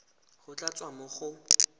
go tla tswa mo go